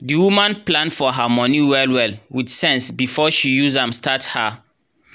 the woman plan her money well well with sense before she use am start her